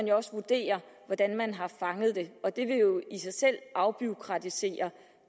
jo også vurderes hvordan man har fanget det og det vil jo i sig selv afbureaukratisere